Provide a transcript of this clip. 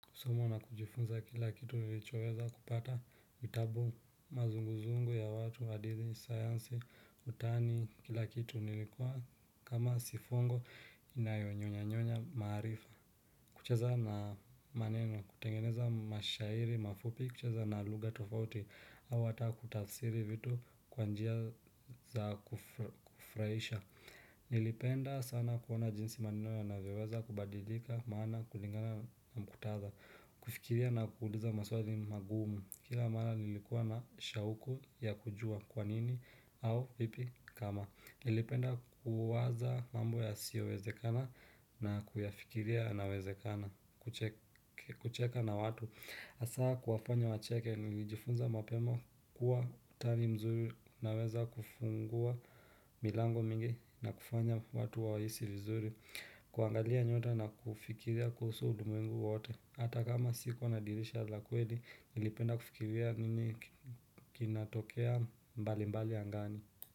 Kusoma na kujifunza kila kitu niichoweza kupata vitabu mazunguzungu ya watu, hadithi, sayansi, utani, kila kitu nilikuwa kama si fungo inayonyonyanyonya maarifa. Kucheza na maneno, kutengeneza mashairi mafupi, kucheza na lugha tofauti, au hata kutafsiri vitu kwa njia za kufurahisha. Nilipenda sana kuona jinsi maneno yanavyoweza kubadilika maana kulingana na muktadha. Kufikiria na kuuliza maswali magumu. Kila mara nilikuwa na shauku ya kujua kwa nini au vipi kama nilipenda kuwaza mambo yasiyowezekana na kuyafikiria yanawezekana. Kucheka na watu hasa kuwafanya wacheke nilijifunza mapema kuwa utani mzuri unaweza kufungua milango mingi na kufanya watu wahisi vizuri. Kuangalia nyota na kufikiria kuhusu ulimwengu wote hata kama sikuwa na dirisha la kweli nilipenda kufikiria nini kinatokea mbali mbali angani.